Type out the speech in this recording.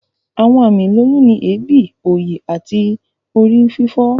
Àwọn àmì ìlóyún ni èébì, òòyì, àti orí fífọ́